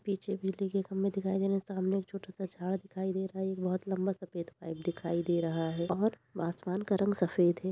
पीछे बिजली के खंभे दिखाई दे रहे हैं। सामने एक छोटा सा झाड़ दिखाई दे रहा है। एक बहोत लम्बा सा सफेद पाइप दिखाई दे रहा है और आसमान का रंग सफ़ेद है।